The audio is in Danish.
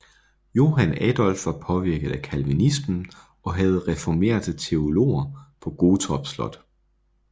Johan Adolf var påvirket af calvinismen og havde reformerte teologer på Gottorp Slot